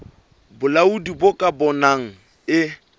bolaodi bo ka bonang e